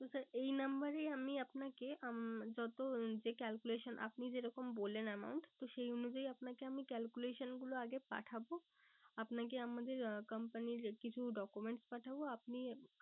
তো sir এই number এই আমি আপনাকে যত যে calculation আপনি যেরকম বললেন amount তো সেই অনুযায়ী আপনাকে আমি calculation গুলো আগে পাঠাবো। আপনাকে আমাদের company র কিছু documents পাঠাবো আপনি